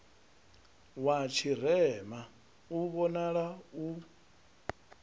wa tshirema u vhonale u